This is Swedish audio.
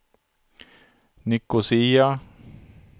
Nicosia